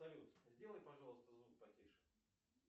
салют сделай пожалуйста звук потише